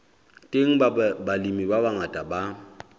teng balemi ba bangata ba